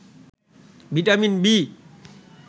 vitamin B